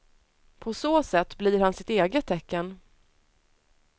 På så sätt blir han sitt eget tecken.